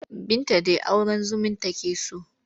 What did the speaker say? Binta dai auren zumun take so.